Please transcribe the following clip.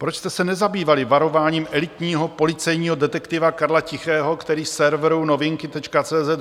Proč jste se nezabývali varováním elitního policejního detektiva Karla Tichého, který serveru Novinky.cz